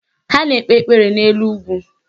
Ha na-ekpe ekpere n'elu ugwu